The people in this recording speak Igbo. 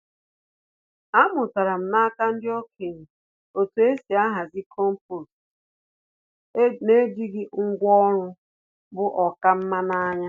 Amụtara m n’aka ndị okenye otú e si ahazi compost n’ejighị ngwá ọrụ bu oká nma n’anya.